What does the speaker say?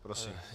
Prosím.